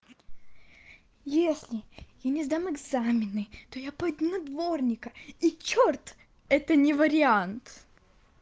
если я не сдам экзамены то я пойду на дворника и чёрт это не вариант